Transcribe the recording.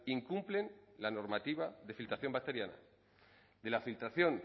incumplen la normativa de filtración bacteriana de la filtración